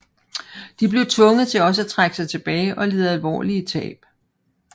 De blev tvunget til også at trække sig tilbage og led alvorlige tab